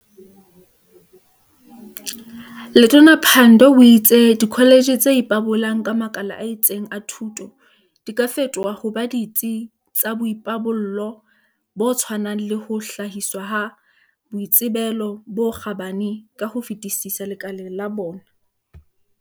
Letona Pandor o itse dikho letjhe tse ipabolang ka makala a itseng a thuto di ka fetoha ho ba ditsi tsa boipabollo bo tshwanang le ho hlahiswa ha boitsebelo bo kgabane ka ho fetisisa lekaleng la bona.